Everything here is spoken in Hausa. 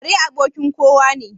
Kare abokin kowa ne.